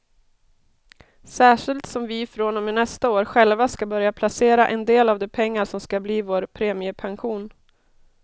Särskilt som vi från och med nästa år själva ska börja placera en del av de pengar som ska bli vår premiepension.